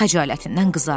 Xəcalətindən qızardı.